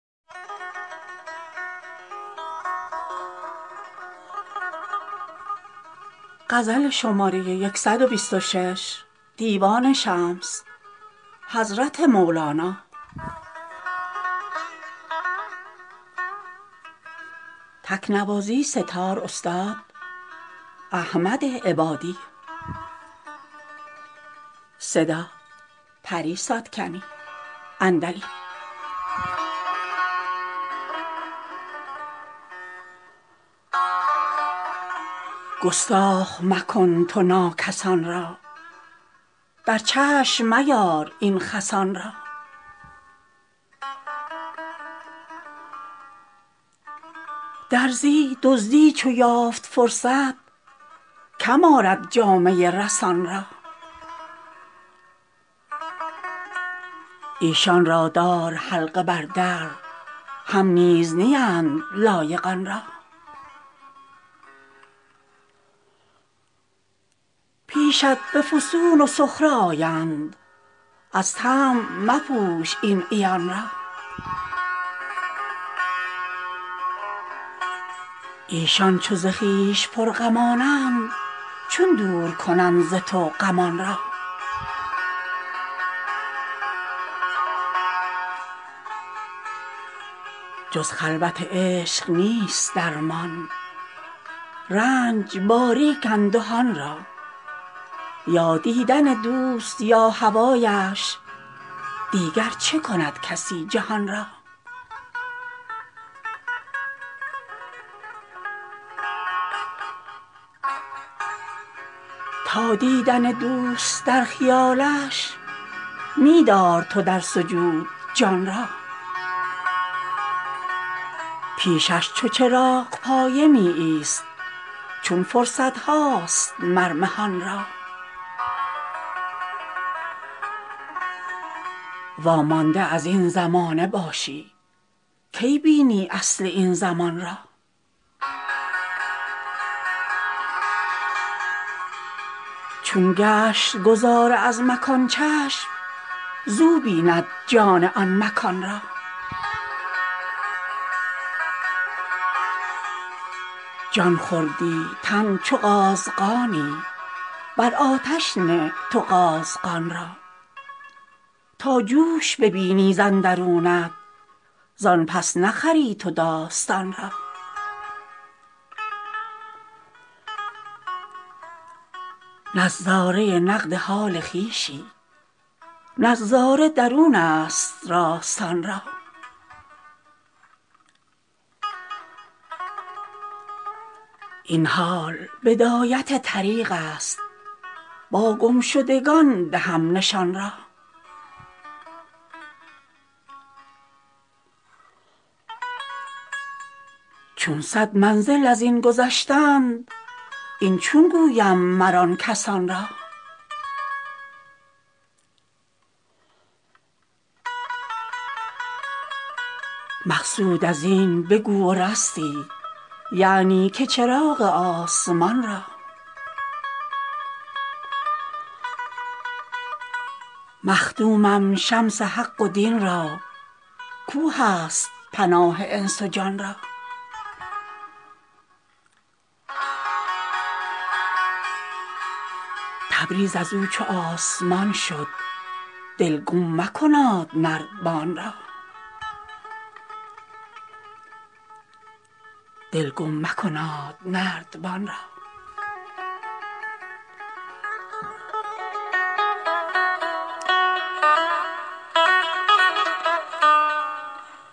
گستاخ مکن تو ناکسان را در چشم میار این خسان را درزی دزدی چو یافت فرصت کم آرد جامه رسان را ایشان را دار حلقه بر در هم نیز نیند لایق آن را پیشت به فسوس و سخره آیند از طمع مپوش این عیان را ایشان چو ز خویش پرغمانند چون دور کنند ز تو غمان را جز خلوت عشق نیست درمان رنج باریک اندهان را یا دیدن دوست یا هوایش دیگر چه کند کسی جهان را تا دیدن دوست در خیالش می دار تو در سجود جان را پیشش چو چراغپایه می ایست چون فرصت هاست مر مهان را وامانده از این زمانه باشی کی بینی اصل این زمان را چون گشت گذار از مکان چشم زو بیند جان آن مکان را جان خوردی تن چو قازغانی بر آتش نه تو قازغان را تا جوش ببینی ز اندرونت زان پس نخری تو داستان را نظاره نقد حال خویشی نظاره درونست راستان را این حال بدایت طریقست با گم شدگان دهم نشان را چون صد منزل از این گذشتند این چون گویم مر آن کسان را مقصود از این بگو و رستی یعنی که چراغ آسمان را مخدومم شمس حق و دین را کاو هست پناه انس و جان را تبریز از او چو آسمان شد دل گم مکناد نردبان را